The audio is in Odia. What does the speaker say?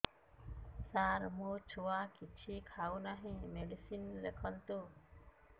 ସାର ମୋ ଛୁଆ କିଛି ଖାଉ ନାହିଁ ମେଡିସିନ ଲେଖନ୍ତୁ